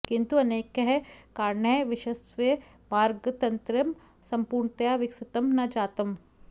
किन्तु अनेकैः कारणैः विश्वस्य मार्गतन्त्रं सम्पूर्णतया विकसितं न जातम्